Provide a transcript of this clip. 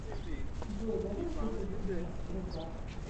джой давай купим мне крузак